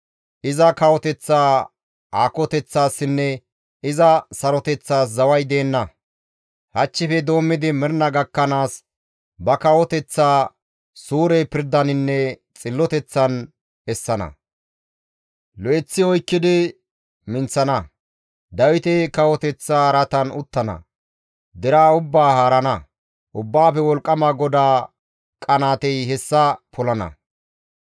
Iza kawoteththa aakoteththaassinne iza saroteththaas zaway deenna; hachchife doommidi mernaa gakkanaas ba kawoteththaa, suure pirdaninne xilloteththan essana; lo7eththi oykkidi minththana; Dawite kawoteththa araatan izi uttana; deraa ubbaa haarana; Ubbaafe Wolqqama GODAA qanaatey hessa polana.